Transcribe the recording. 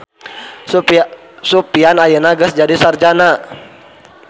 Sufyan ayeuna geus jadi sarjana